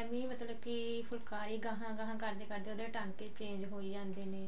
ਏਵੀਂ ਮਤਲਬ ਕਿ ਫੁੱਲਕਾਰੀ ਗਹਾਂ ਗਹਾਂ ਕਰਦੇ ਕਰਦੇ ਉਹਦੇ ਟਾਂਕੇ change ਹੋਈ ਜਾਂਦੇ ਨੇ